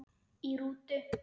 Í rútu